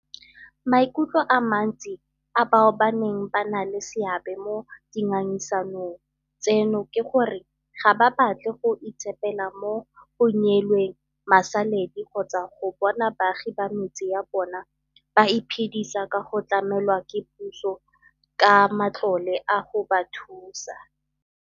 Maikutlo a mantsi a bao ba neng ba na le seabe mo dingangisanong tseno ke gore ga ba batle go itshepela mo go neelweng masaledi kgotsa go bona baagi ba metse ya bona ba iphedisa ka go tlamelwa ke puso ka matlole a go ba thusa.